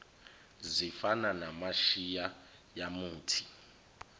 zifana namashiya yamuthi